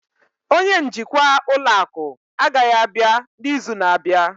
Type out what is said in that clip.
onye njikwa ụlọ akụ agaghị abịa n'izu na-abịa